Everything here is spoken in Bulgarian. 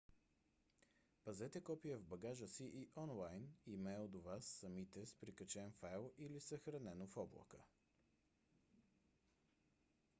пазете копие в багажа си и онлайн имейл до вас самите с прикачен файл или съхранено в облака